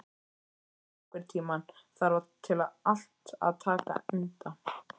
Kusi, einhvern tímann þarf allt að taka enda.